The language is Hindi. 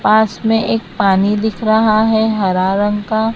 पास में एक पानी दिख रहा है हरा रंग का--